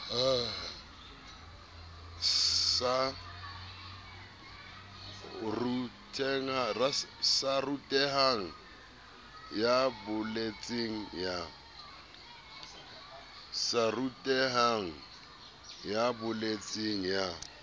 sa rutehang ya bolotseng ya